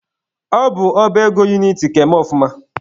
Ọ bụ ọba ego uniti ka eme ọfụma.